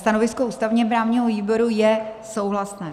Stanovisko ústavně-právního výboru je souhlasné.